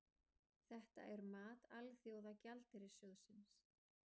Þetta er mat Alþjóða gjaldeyrissjóðsins